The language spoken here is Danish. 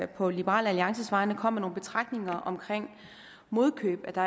på liberal alliances vegne kom med nogle betragtninger om modkøb at der